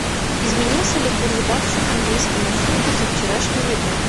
изменился ли курс бакса к английскому фунту со вчерашнего дня